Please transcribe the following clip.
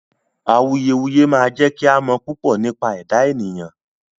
Awùyewùyẹ̀ máa jẹ̀ kí à mọ̀ púpọ̀ nípa ẹdá ènìyàn